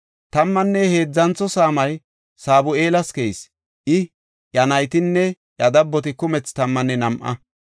Tammanne heedzantho saamay Sabu7eelas keyis; I, iya naytinne iya dabboti kumethi tammanne nam7a.